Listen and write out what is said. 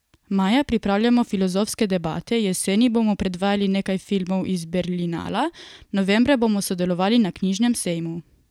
Maja pripravljamo filozofske debate, jeseni bomo predvajali nekaj filmov z Berlinala, novembra bomo sodelovali na knjižnem sejmu.